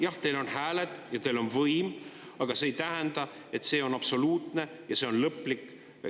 Jah, teil on hääled ja teil on võim, aga see ei tähenda, et see on absoluutne ja lõplik.